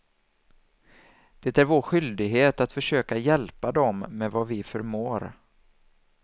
Det är vår skyldighet att försöka hjälpa dem med vad vi förmår.